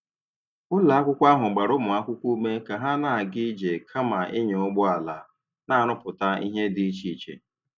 Ụlọ akwụkwọ ahụ gbara ụmụ akwụkwọ ume ka ha na-aga ije kama ịnya ụgbọ ala, na-arụpụta ihe dị iche iche.